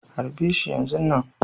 Harbe shi yanzun nan.